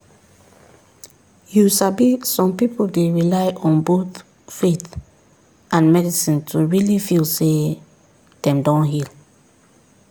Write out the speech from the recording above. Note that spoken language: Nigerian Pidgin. you sabi some people dey rely on both faith and medicine to really feel say dem don heal.